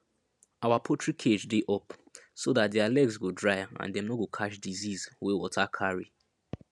our poultry cage dey up so dat their legs go dry and dem no go catch disease wey water carry